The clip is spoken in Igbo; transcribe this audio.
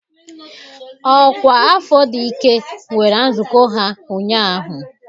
Ọkwa afọ dị ike nwere nzukọ ha ụnyahụ.